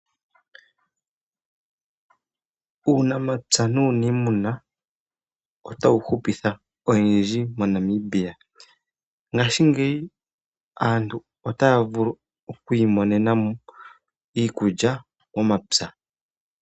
Uunapya nuunima otuwu hupitha oyendji moNamibia, ngaashi ngeyi aantu otaya vulu okwiimonena mo iikulya momapya.